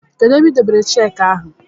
Kedu ebe I debere cheki gi